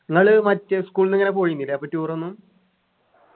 നിങ്ങള് മറ്റേ school ന്ന് ഇങ്ങനെ പോയിനില്ലേ അപ്പൊ tour ഒന്നും